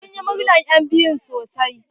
Sun yi murnar enbiyun sosai.